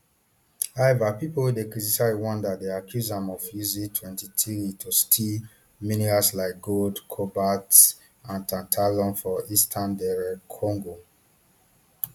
however pipo wey dey criticise rwanda dey accuse am of using mtwenty-three to steal minerals like gold cobalt and tantalum for eastern dr congo